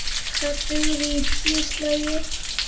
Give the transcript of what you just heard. Það dugði í tíu slagi.